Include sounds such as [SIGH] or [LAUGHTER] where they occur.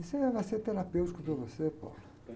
Isso aí vai ser terapêutico para você. [UNINTELLIGIBLE]